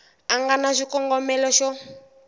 a nga na xikongomelo xo